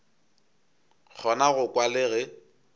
kgona go kwa le ge